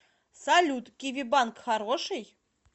салют киви банк хороший